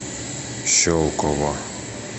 щелково